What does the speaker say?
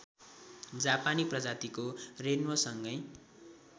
जापानी प्रजातिको रेन्वोसँगै